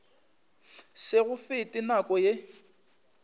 se go fete nako ye